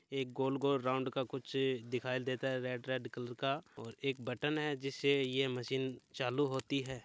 एक गोल गोल राउंड का कुछ दिखाई देता है रेड रेड कलर का और एक बटन है जिससे ये मशीन चालू होती है।